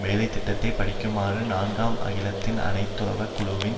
வேலை திட்டத்தை படிக்குமாறும் நான்காம் அகிலத்தின் அனைத்துலக குழுவின்